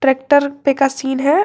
Truck पे का scene है।